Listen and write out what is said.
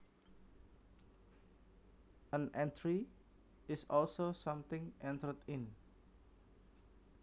An entry is also something entered in